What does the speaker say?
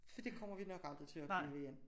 For det kommer vi nok aldrig til at opleve igen